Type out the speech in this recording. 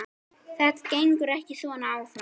Þetta gengur ekki svona áfram.